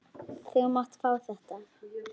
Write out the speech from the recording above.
Þú mátt fá þetta.